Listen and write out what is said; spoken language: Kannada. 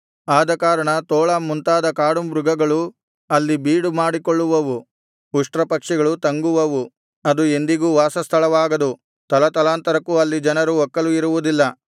ಆದಕಾರಣ ತೋಳ ಮುಂತಾದ ಕಾಡುಮೃಗಗಳು ಅಲ್ಲಿ ಬೀಡು ಮಾಡಿಕೊಳ್ಳುವವು ಉಷ್ಟ್ರಪಕ್ಷಿಗಳು ತಂಗುವವು ಅದು ಎಂದಿಗೂ ವಾಸಸ್ಥಳವಾಗದು ತಲತಲಾಂತರಕ್ಕೂ ಅಲ್ಲಿ ಜನರು ಒಕ್ಕಲು ಇರುವುದಿಲ್ಲ